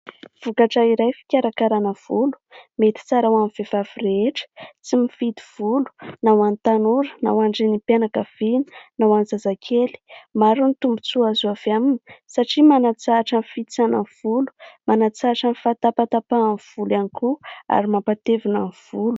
Vokatra iray fikarakarana volo mety tsara ho amin'ny vehivavy rehetra ; tsy mifidy vola na ho any tanora na ho any renim-pianakaviana na ho any zazakely. Maro ny tombotsoa azo avy aminy satria manatsahatra ny fihitsanan'ny volo, manatsahatra fahatapatapahan'ny volo ihany koa ary mampatevina ny volo.